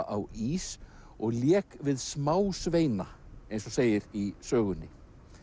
á ís og lék við smásveina eins og segir í sögunni